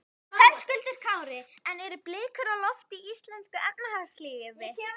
Höskuldur Kári: En eru blikur á lofti í íslensku efnahagslífi?